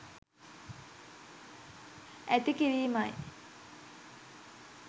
ඇති කිරීමයි.